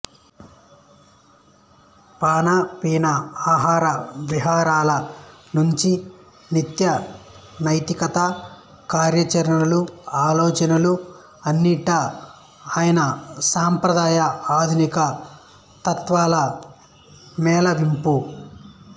పాన పీన ఆహార విహారాల నుంచి నిత్యనైమిత్తిక కార్యాచరణలు ఆలోచనలు అన్నింటా ఆయన సంప్రదాయ ఆధునిక తత్వాల మేళవింపు